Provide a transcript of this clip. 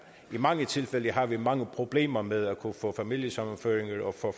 i mange tilfælde har vi mange problemer med at kunne få familiesammenføringer og få